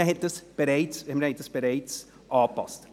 Das haben wir also bereits angepasst.